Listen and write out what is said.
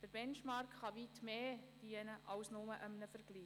Der Benchmark kann zu weitaus mehr dienen als nur zu einem Vergleich.